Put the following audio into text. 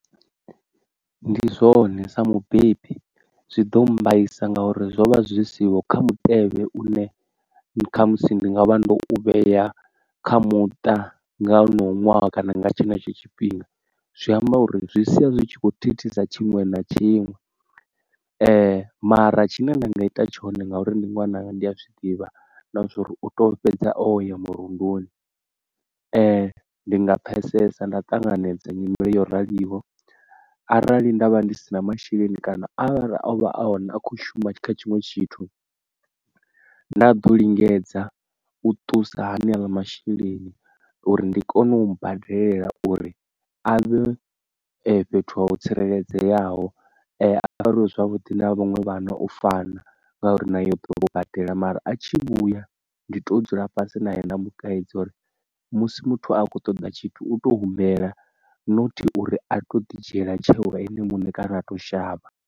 Ndi zwone sa mubebi zwi ḓo mmbaisa ngauri zwo vha zwi siho kha mutevhe une kha musi ndi nga vha ndo u vhea kha muṱa nga honoyo ṅwaha kana nga tshenetsho tshifhinga. Zwi amba uri zwi sia zwi tshi kho thithisa tshiṅwe na tshiṅwe, mara tshine nda nga ita tshone ngauri ndi ṅwananga ndi a zwiḓivha na zwori u tea u fhedza o ya murunduni ee ndi nga pfesesa nda ṱanganedza nyimele yo raliho, arali ndavha ndi si na masheleni kana a vha o vha a hone a khou shuma kha tshiṅwe tshithu nda ḓo lingedza u ṱusa haneaḽa masheleni uri ndi kone u badela uri a vhe fhethu ha u tsireledzeaho a fariwi zwavhudi na vhaṅwe vhano u fana ngauri na yo ḓo lu badela. Mara a tshi vhuya ndi to dzula fhasi na hone nda mukaidza uri musi muthu a khou ṱoḓa tshithu u to humbela nothi uri a to ḓi dzhiela tsheo ene muṋe kana a to shavha.